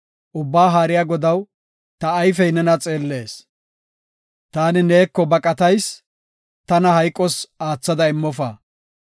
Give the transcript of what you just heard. Ubbaa Haariya Godaw, ta ayfey nena xeellees. Taani neeko baqatayis; tana hayqos aathada immofa.